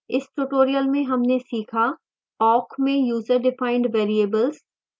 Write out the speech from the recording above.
इस tutorial में हमने सीखा